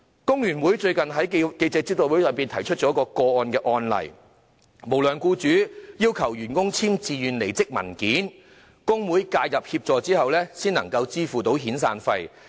工聯會最近在記者招待會上提出了一宗案例，有無良僱主要求員工簽署自願離職文件，工會介入協助後，該名僱主才願意支付遣散費。